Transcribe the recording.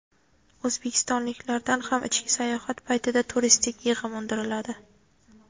O‘zbekistonliklardan ham ichki sayohat paytida turistik yig‘im undiriladi.